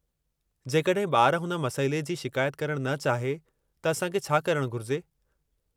जेकॾहिं ॿार हुन मसइले जी शिकायत करणु न चाहे त असां खे छा करणु घुरिजे?